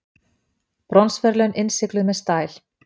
Bronsverðlaun innsigluð með stæl